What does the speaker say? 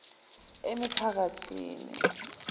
emiphakathini